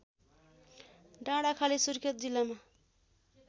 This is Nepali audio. डाँडाखाली सुर्खेत जिल्लामा